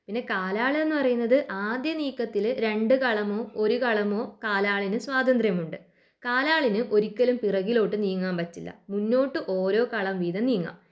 പിന്നെ കാലാള്ന്ന് പറയുന്നത് ആദ്യ നീക്കത്തില് രണ്ട് കളമോ ഒരു കളമോ കാലാളിന് സ്വാതന്ത്ര്യമുണ്ട്. കാലാളിന് ഒരിക്കലും പിറകിലോട്ട് നീങ്ങാൻ പറ്റില്ല മുന്നോട്ട് ഓരോ കളം വീതം നീങ്ങാം